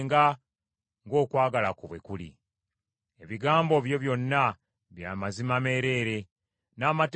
Ebigambo byo byonna bya mazima meereere; n’amateeka go ga lubeerera.